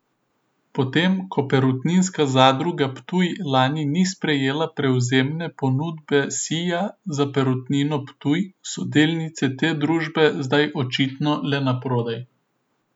Potem ko Perutninska zadruga Ptuj lani ni sprejela prevzemne ponudbe Sija za Perutnino Ptuj, so delnice te družbe zdaj očitno le prodali.